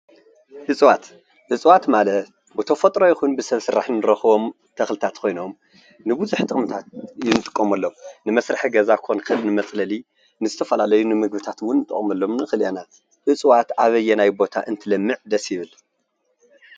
እፅዋት፦ እፅዋት ማለት ብተፈጥሮ ይኩን ብሰብ ስራሕ ንረክቦም ተክልታት ኮይኖም ንብዙሕ ጥቅምታት ንጥቀመሎም ንመስርሒ ገዛ ክኮን ይክእል ንመፅለሊ ንዝተፈላለዩ ንምግብታት እዉን ንጥቀመሎም ንክእል ኢና እፅዋት ኣበየናይ ቦታ እንትለምዕ ደስ ይብል?